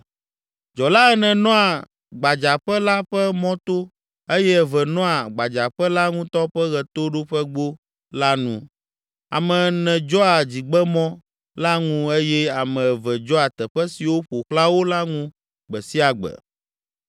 Dzɔla ene nɔa gbadzaƒe la ƒe mɔto eye eve nɔa gbadzaƒe la ŋutɔ ƒe ɣetoɖoƒegbo la nu, ame ene dzɔa dzigbemɔ la ŋu eye ame eve dzɔa teƒe siwo ƒo xlã wo la ŋu gbe sia gbe.